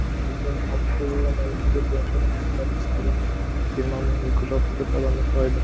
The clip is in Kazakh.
екі мың алтыншы жылғы мәліметтер бойынша тұрғындарының саны жиырма мың екі жүз алпыс төрт адамды құрайды